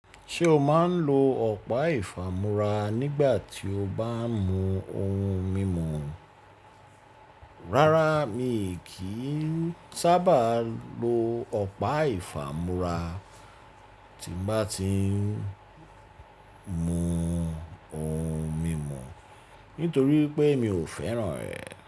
Ṣé o máa ń lo ọ̀pá ìfàmúra nígbà tí o bá ń mu ohun mímu? Rárá, mi kì í sábà lo ọ̀pá ìfàmúra tí mo bá ti ń mu ohun mímu nítorí pé mi ò fẹ́ràn ẹ.